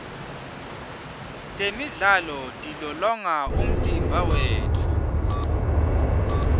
temidlalo tilolonga umtimba wetfu